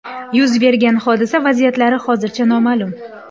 Yuz bergan hodisa vaziyatlari hozircha noma’lum.